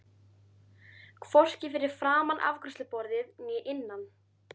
Hvorki fyrir framan afgreiðsluborðið né innan.